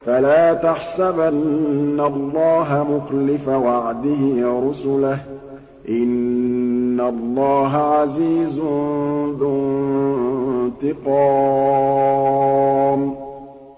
فَلَا تَحْسَبَنَّ اللَّهَ مُخْلِفَ وَعْدِهِ رُسُلَهُ ۗ إِنَّ اللَّهَ عَزِيزٌ ذُو انتِقَامٍ